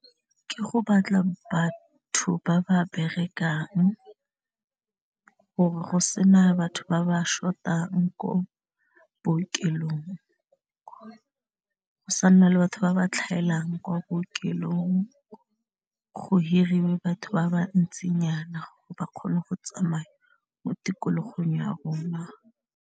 Ke go batla batho ba ba berekang gore go se na batho ba ba short-ang ko bookelong go sa nna le batho ba ba tlhaelang kwa bookelong go hiriwe batho ba ba ntsinyana ba kgone go tsamaya mo tikologong ya rona.